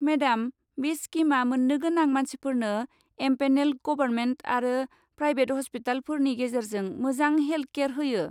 Madam, बे स्किमआ मोन्नो गोनां मानसिफोरनो एमपेनेल्ड गबरमेन्ट आरो प्रायबेट हस्पिटालफोरनि गेजेरजों मोजां हेल्ट केयार होयो।